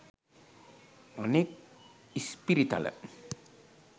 අනෙක් ඉස්පිරිතල